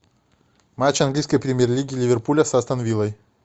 матч английской премьер лиги ливерпуля с астон виллой